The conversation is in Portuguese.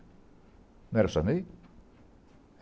Não era o Sarney?